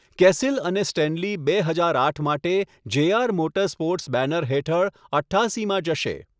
કેસિલ અને સ્ટેનલી બે હજાર આઠ માટે જેઆર મોટરસ્પોર્ટ્સ બેનર હેઠળ અઠ્ઠાસીમાં જશે.